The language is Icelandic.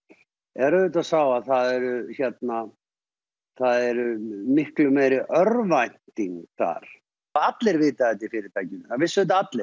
er að það er miklu meiri örvænting þar allir vita þetta í fyrirtækinu það vissu þetta allir